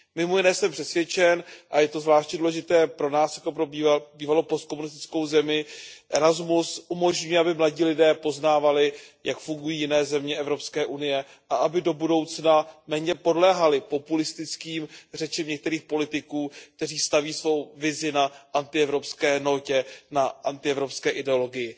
Mimo jiné jsem přesvědčen, a je to zvláště důležité pro nás, pro bývalou postkomunistickou zemi, Erasmus umožňuje, aby mladí lidé poznávali, jak fungují jiné země EU, a aby do budoucna méně podléhali populistickým řečem některých politiků, kteří staví svou vizi na antievropské notě, na antievropské ideologii.